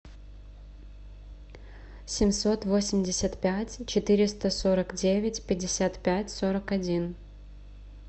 семьсот восемьдесят пять четыреста сорок девять пятьдесят пять сорок один